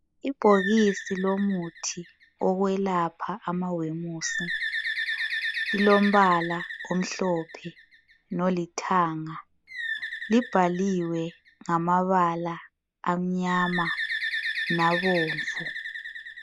Ibhokisi lomuthi wokwelapha amawemusi lilombala omhlophe lolithanga. Libhaliwe ngamabala amnyama labomvu.